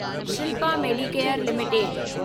Shilpa Medicare limited